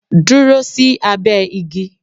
Dúró sí abẹ́ igi!